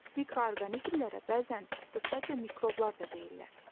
Mikroorqanizmlərə bəzən qısaca mikroblar da deyirlər.